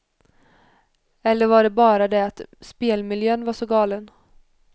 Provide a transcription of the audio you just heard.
Eller var det bara det att spelmiljön var så galen.